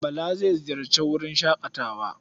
Bala zai ziyarci wurin shaƙatawa.